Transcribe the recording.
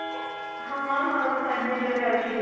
ହଁ ହଁ ସାଢେ ଦି ଟା ରେ ଅଛି class